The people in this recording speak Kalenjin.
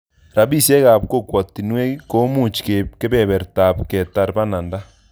Rapisyek ap kokwatinwek komuch keip kepepertap ketar pananda